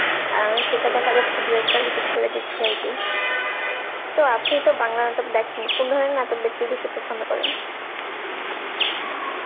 অ্যাঁ সেটা দেখা যাচ্ছে দু একবার repeat করে দিচ্ছি আরকি তো আপনি তো বাংলা নাটক দেখেন কোন ধরনের নাটক দেখতে বেশি পছন্দ করেন?